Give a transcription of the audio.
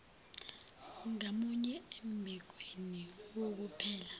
ngamunye embikweni wokuphela